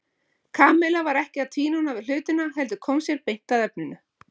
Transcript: Kamilla var ekkert að tvínóna við hlutina heldur kom sér beint að efninu.